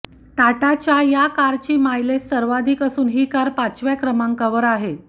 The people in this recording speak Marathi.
टाटाच्या या कारची मायलेज सर्वाधिक असून ही कार पाचव्या क्रमाकांवर आहे